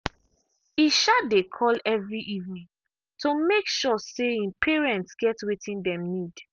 e um dey call every evening to make sure say him parents get wetin dem need.